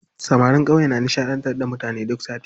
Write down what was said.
Samarin ƙauye na nishaɗantar da mutane duk sati.